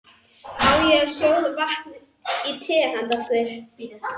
Á ég að sjóða vatn í te handa okkur?